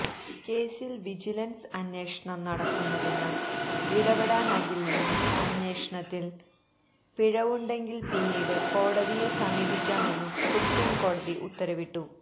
കേസിൽ വിജിലൻസ് അന്വേഷണം നടക്കുന്നതിനാൽ ഇടപെടാനാകില്ലെന്നും അന്വേഷണത്തിൽ പിഴവുണ്ടെങ്കിൽ പിന്നീട് കോടതിയെ സമീപിക്കാമെന്നും സുപ്രീം കോടതി ഉത്തരവിട്ടു